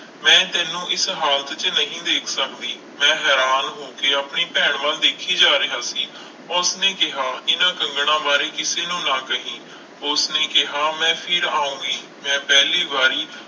ਮੈਂ ਤੈਨੂੰ ਇਸ ਹਾਲਤ 'ਚ ਨਹੀਂ ਦੇਖ ਸਕਦੀ, ਮੈਂ ਹੈਰਾਨ ਹੋ ਕੇ ਆਪਣੀ ਭੈਣ ਵੱਲ ਦੇਖੀ ਜਾ ਰਿਹਾ ਸੀ, ਉਸਨੇ ਕਿਹਾ ਇਹਨਾਂ ਕੰਗਣਾਂ ਬਾਰੇ ਕਿਸੇ ਨੂੰ ਨਾ ਕਹੀ, ਉਸਨੇ ਕਿਹਾ ਮੈਂ ਫਿਰ ਆਊਂਗੀ ਮੈਂ ਪਹਿਲੀ ਵਾਰੀ